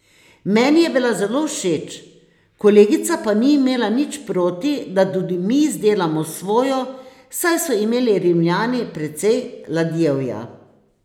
Meni je bila zelo všeč, kolegica pa ni imela nič proti, da tudi mi izdelamo svojo, saj so imeli Rimljani precej ladjevja.